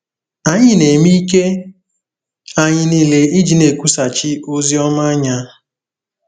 Anyị na-eme ike anyị niile iji na-ekwusachi ozi ọma anya.